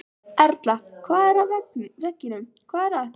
Erla: Hvað er að veginum, hvað er að?